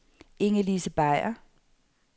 Inge-Lise Beyer